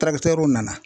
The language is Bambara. nana